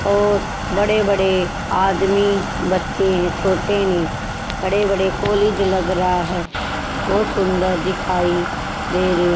और बड़े बड़े आदमी बच्चे हैं छोटे नहीं बड़े बड़े कॉलेज लग रहा है बहोत सुंदर दिखाई दे रहे--